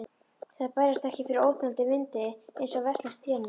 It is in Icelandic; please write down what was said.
Þær bærast ekki fyrir óþolandi vindi, einsog veslings trén mín.